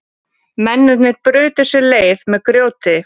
Mennirnir brutu sér leið með grjóti